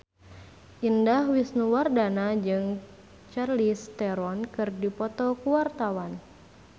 Indah Wisnuwardana jeung Charlize Theron keur dipoto ku wartawan